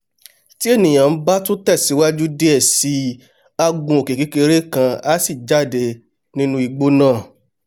tí ènìà bá tún tẹ̀ síwájú diẹ̀ sí i á gun òkè kékeré kan á sì jáde nínú igbó náà